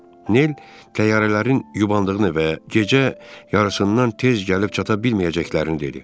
Nell təyyarələrin yubandığını və gecə yarısından tez gəlib çata bilməyəcəklərini dedi.